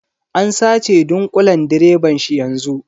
An sace dunƙulen direban shi yanzu.